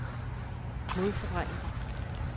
modforvrænger